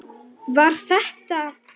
Var þetta.